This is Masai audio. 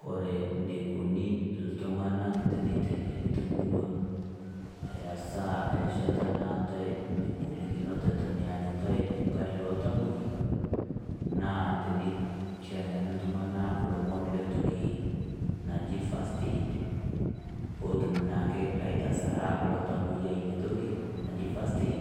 Kore neikoni ltung'anak teneteng'eni te murrua eirasaa erishata naatae inkolikinot eton eanyitai eng'ari e iltamoyiak, naa teneteng'ene ltung'ana lomon le ntoki naji fiirst aid pootum naake aitasara lo tamoyiak nia ntoki naji first aid